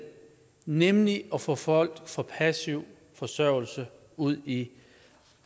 nemlig at få folk fra passiv forsørgelse ud i